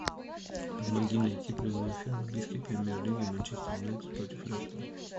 помоги найти прямой эфир английской премьер лиги манчестер юнайтед против лестера